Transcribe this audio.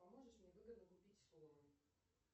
поможешь мне выгодно купить сомы